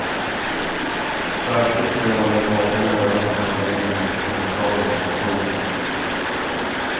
Särskilt ska jag hålla ett vakande öga på handläggningen av personskador. punkt